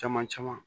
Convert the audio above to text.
Caman caman